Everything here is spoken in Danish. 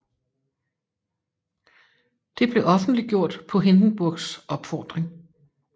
Det blev offentliggjort på Hindenburgs opfordring